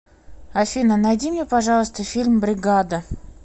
афина найди мне пожалуйста фильм бригада